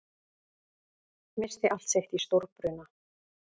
Missti allt sitt í stórbruna